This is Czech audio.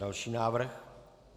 Další návrh.